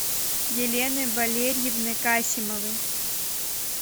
елены валерьевны касимовой